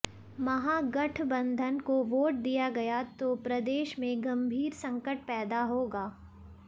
महागठबंधन को वोट दिया गया तो प्रदेश में गंभीर संकट पैदा होगा